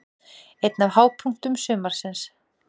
Einn af hápunktum sumarsins.